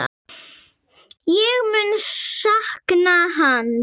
Ég mun sakna hans.